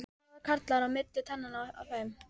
Það var karlmaður á milli tannanna á þeim.